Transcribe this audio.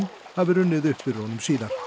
hafi runnið upp fyrir honum síðar